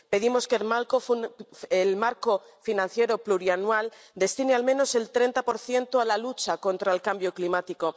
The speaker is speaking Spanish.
Pedimos que el marco financiero plurianual destine al menos el 30 a la lucha contra el cambio climático.